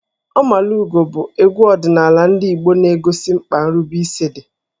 Ọmalugo bụ egwu ọdịnala ndị Igbo na-egosi mkpa nrubeisi dị.